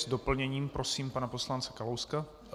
S doplněním prosím pana poslance Kalouska.